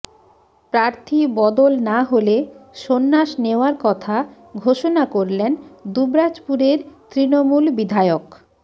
প্রার্থী বদল না হলে সন্ন্যাস নেওয়ার কথা ঘোষণা করলেন দুবরাজপুরের তৃণমূল বিধায়ক